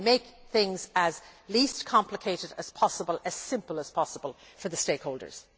So we make things as uncomplicated as possible, as simple as possible, for stakeholders.